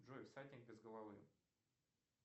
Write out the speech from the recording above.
джой всадник без головы